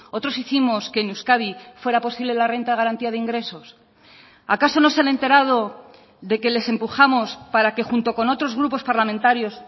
otros hicimos que en euskadi fuera posible la renta de garantía de ingresos acaso no se han enterado de que les empujamos para que junto con otros grupos parlamentarios